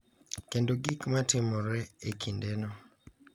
Kendo gik ma timore e kindeno.